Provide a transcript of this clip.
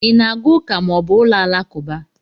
Ị na aga ụka ma ọ bụ ụlọ alakụba?